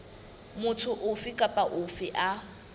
motho ofe kapa ofe a